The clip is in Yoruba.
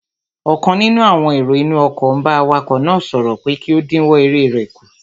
Ọ̀kan nínú àwọn èrò inú ọkọ̀ n bá awakọ̀ náà sọ̀rọ̀ pé kí ó dínwọ́ eré rẹ̀ kù